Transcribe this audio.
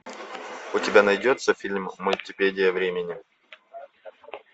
у тебя найдется фильм мультипедия времени